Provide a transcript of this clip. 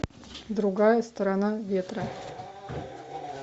другая сторона ветра